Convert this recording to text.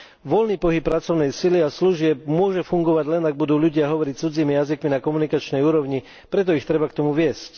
Voľný pohyb pracovnej sily a služieb môže fungovať, len ak budú ľudia hovoriť cudzími jazykmi na komunikačnej úrovni, preto ich treba k tomu viesť.